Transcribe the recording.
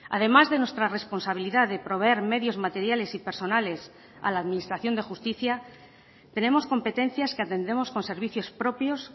además de nuestra responsabilidad de proveer medios materiales y personales a la administración de justicia tenemos competencias que atendemos con servicios propios